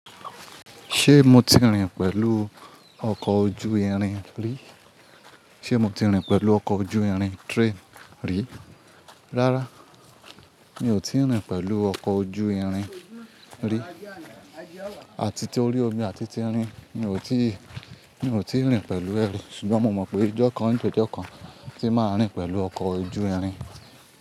Ṣé mo ti rìn pẹ̀lú ọkọ̀ ojú irin rí? Ṣé mo ti rìn pẹ̀lú ọkọ̀ ojú irin train rí? Rárá, mi ò ti rìn pẹ̀lú ọkọ̀ ojú irin rí. Àti torí omi àti ti irin, mi ò ti, mi ò ti rìn pẹ̀lú ẹ rí. Ṣùgbọ́n mo mọ̀ pé ọjọ́ kan, nípe ọjọ́ kan, tí máa rìn pẹ̀lú ọkọ̀ ojú irin.